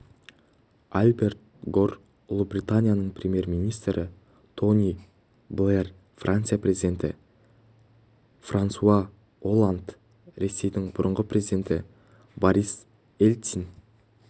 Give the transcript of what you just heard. альберт гор ұлыбританияның премьер-министрі тони блэр франция президенті франсуа олланд ресейдің бұрынғы президенті борис ельцин